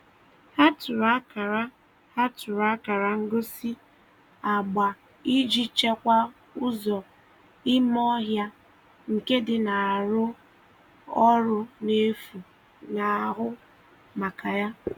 Ha tụrụ akara Ha tụrụ akara ngosi agba iji chekwaa ụzọ ime ọhịa nke dị na arụ ọrụ efu na-ahụ maka ya.